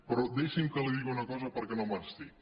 però deixi’m que li digui una cosa perquè no me n’estic